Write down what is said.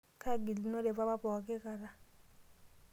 kaagilunore papa pooki kata.